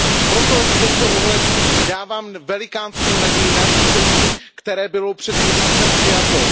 Proto v tomto ohledu dávám velikánskou naději nařízení, které bylo před měsícem přijato.